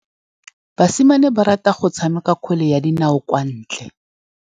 Basimane ba rata go tshameka kgwele ya dinaô kwa ntle.